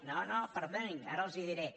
no no perdonin ara els ho diré